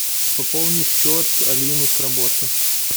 пополни счет алины с работы